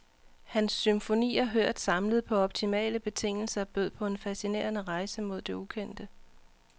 Hans symfonier hørt samlet på optimale betingelser bød på en fascinerende rejse mod det ukendte.